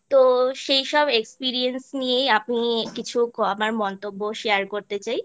তো সেইসব Experiance নিয়েই আমি কিছু আমার মন্তব্য Share করতে চাই